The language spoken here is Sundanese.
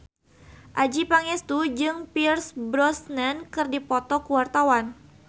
Adjie Pangestu jeung Pierce Brosnan keur dipoto ku wartawan